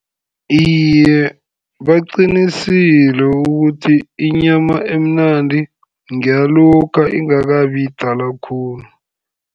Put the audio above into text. Iye baqinisile ukuthi inyama emnandi ngeyalokha ingakabi yidala khulu.